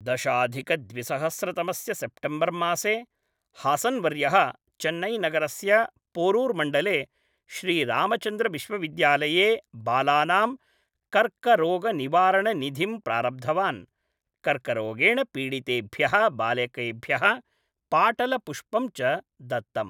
दशाधिकद्विसहस्रतमस्य September मासे, हासन् वर्यः चेन्नैनगरस्य पोरुर् मण्डले श्रीरामचन्द्रविश्वविद्यालये बालानां कर्करोगनिवारणनिधिं प्रारब्धवान्, कर्करोगेण पीडितेभ्यः बालकेभ्यः पाटलपुष्पं च दत्तम्।